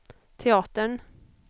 teatern